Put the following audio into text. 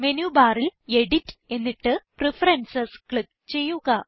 menu ബാറിൽ edit എന്നിട്ട് preferences click ചെയ്യുക